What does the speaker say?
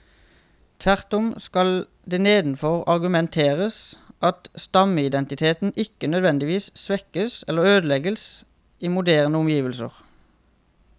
Tvert om skal det nedenfor argumenteres at stammeidentiteten ikke nødvendigvis svekkes eller ødelegges i moderne omgivelser.